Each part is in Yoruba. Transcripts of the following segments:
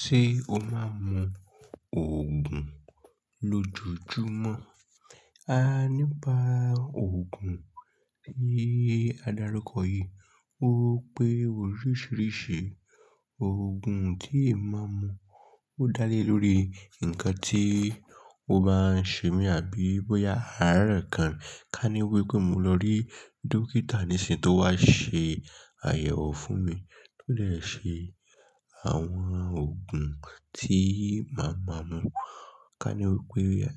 Ṣé o máa ń mu òògùn lójojúmọ́? A nípa òògùn ní adarukọ yìí. Ó pé oríṣiríṣi òògùn tí ẹ máa ń mu ó dá lé lórí nǹkan tí o bá ń ṣe mí àbí bóyá àárẹ̀ kan. Ka ní wípé mo lọ rí dókítà nísìn tó wá ṣe àyẹ̀wò fún mi, tó lè ṣe àwọn òògùn tí màá máa mu. Ka ní wípé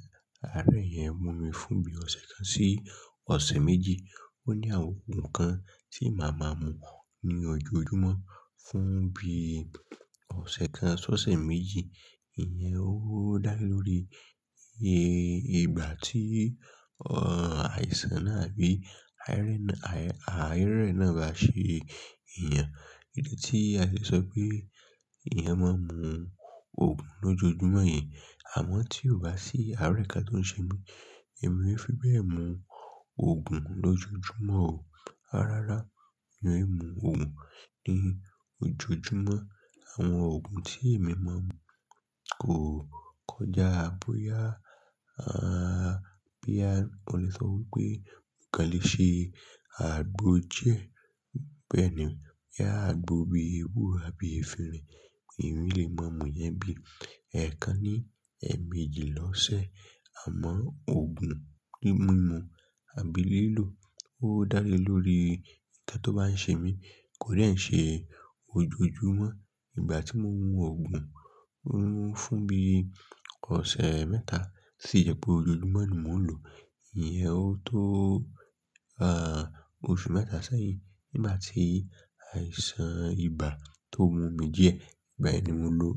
àárẹ̀ yẹn mu mi fún bí ọ̀sẹ̀ kan sí ọ̀sẹ̀ méjì. Ó ní àwọn òògùn kan tí màá máa mu ní ojoojúmọ́ fún bí ọ̀sẹ̀ kan sí ọ̀sẹ̀ méjì. Ìyẹn ó dá lé lórí ìgbà tí àìsàn náà àbí àárẹ̀ náà bá ṣe èèyàn. Kìíní tí a lè sọ wípé ìyẹn máa ń mu òògùn lójojúmọ́ yẹn. Àmọ́ tí o bá sí àárẹ̀ kan tó ń ṣe mí, èmi yóò fi bẹ́ẹ̀ mu òògùn lójojúmọ́ o. Rárá, èmi ò mu òògùn ní ojoojúmọ́. Àwọn òògùn tí èmi máa ń mu kò kọjá bóyá, ah, bí a lè sọ wípé nǹkan lè ṣe àgbo díẹ̀. Bẹ́ẹ̀ ni, bóyá àgbo bí ewu àbí efinrin, èmi lè máa mu ìyẹn bí ẹẹkan ní èèmejì lọ́sẹ̀. Àmọ́ òògùn mímu àbí lílò ó dá lé lórí nǹkan tó bá ń ṣe mí kò lè ṣe ojoojúmọ́. Ìgbà tí mo mu òògùn fún bí ọ̀sẹ̀ mẹ́ta sì yẹ pé ojoojúmọ́ ni mò ń lò, ìyẹn ó tó, ah, oṣù mẹ́ta sẹ́yìn nígbà tí àìsàn ibà tó mú mi díẹ̀. Ìgbà ẹni mo lò.